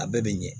A bɛɛ bɛ ɲɛ